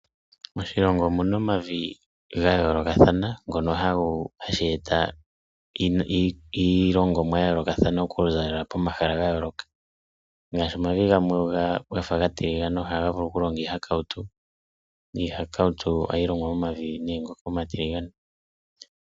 Moshilongo omuna omavi gayoolokathana, ngono haga longithwa iilongomwa yayoolokathana okuza komahala gayooloka. Omavi nga omatilgane omo hamu kunwa iihakautu.